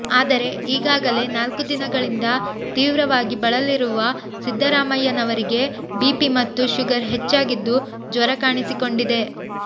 ಆದರೆ ಈಗಾಗಲೇ ನಾಲ್ಕು ದಿನಗಳಿಂದ ತೀವ್ರವಾಗಿ ಬಳಲಿರುವ ಸಿದ್ದರಾಮಯ್ಯವನರಿಗೆ ಬಿಪಿ ಮತ್ತೆ ಶುಗರ್ ಹೆಚ್ಚಾಗಿದ್ದು ಜ್ವರ ಕಾಣಿಸಿಕೊಂಡಿದೆ